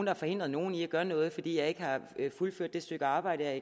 har forhindret nogen i at gøre noget fordi jeg ikke har fuldført det stykke arbejde jeg